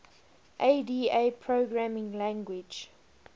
ada programming language